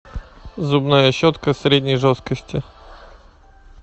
зубная щетка средней жесткости